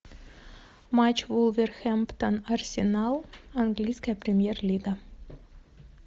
матч вулверхэмптон арсенал английская премьер лига